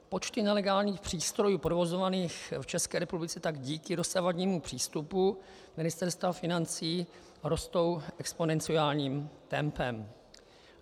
Počty nelegálních přístrojů provozovaných v České republice tak díky dosavadnímu přístupu Ministerstva financí rostou exponenciálním tempem.